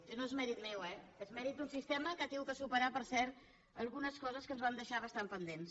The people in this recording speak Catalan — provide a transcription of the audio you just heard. i no és mèrit meu eh és mèrit d’un sistema que ha hagut de superar per cert algunes coses que ens van deixar bastant pendents